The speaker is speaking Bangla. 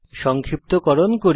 সংক্ষিপ্তকরণ করি